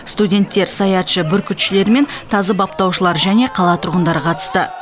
студенттер саятшы бүркітшілер мен тазы баптаушылар және қала тұрғындары қатысты